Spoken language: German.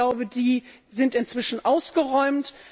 Ich glaube, die sind inzwischen ausgeräumt.